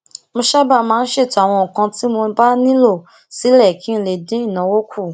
mo sábà máa ń ṣètò àwọn nǹkan tí mo bá nilo sile kí n lè dín ìnáwó kù